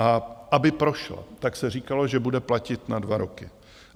A aby prošla, tak se říkalo, že bude platit na dva roky.